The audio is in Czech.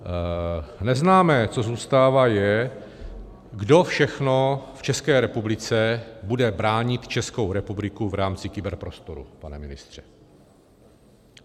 Neznámé, co zůstává, je, kdo všechno v České republice bude bránit Českou republiku v rámci kyberprostoru - pane ministře.